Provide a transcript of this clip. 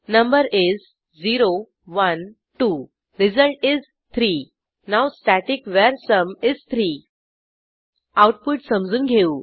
number is 0 1 2 result is 3 now static वर sum is 3 output समजून घेऊ